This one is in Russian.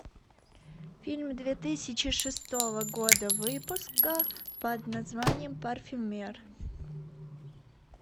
фильм две тысячи шестого года выпуска под названием парфюмер